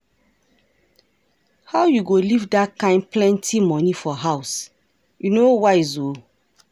How you go leave dat kin plenty money for house? E no wise ooo.